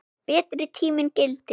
Betri tíminn gilti.